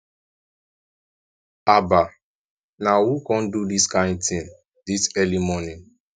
haba na who come do dis kin thing dis early morning